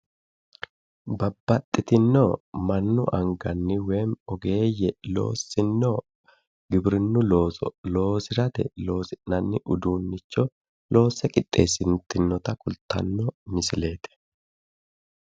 Babbaxxitinno mannu anganni woyiimmi ogeeyye loossinno giwirinnu looso loosirate loosi'nanni uduunnicho loosse qixxessite wortinota kultanno misileet